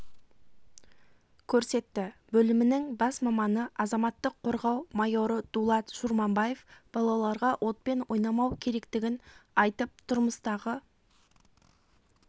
көрсетті бөлімінің бас маманы азаматтық қорғау майоры дулат шурманбаев балаларға отпен ойнамау керектігін айтып тұрмыстағы